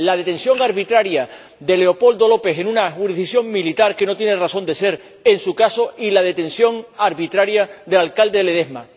La detención arbitraria de Leopoldo López en una jurisdicción militar que no tiene razón de ser en su caso y la detención arbitraria del alcalde Ledezma.